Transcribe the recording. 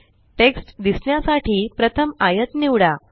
text दिसण्यासाठी प्रथम आयत निवडा